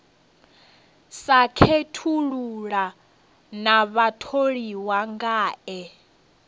sa khethulula na vhatholiwa ngae